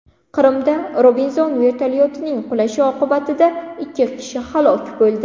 Qrimda Robinson vertolyotining qulashi oqibatida ikki kishi halok bo‘ldi.